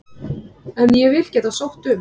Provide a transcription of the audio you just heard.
En ég vil geta sótt um.